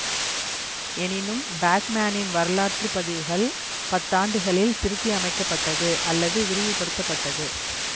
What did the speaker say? எனினும் பேட்மேனின் வரலாற்று பதிவுகள் பத்தாண்டுகளில் திருத்தியமைக்கப்பட்டது அல்லது விரிவுபடுத்தப்பட்டது